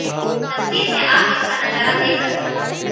तस्वीर में आप इसका नजारा देख सकते हैं